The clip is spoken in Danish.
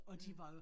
Mh